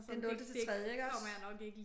Det nulte til tredje iggås?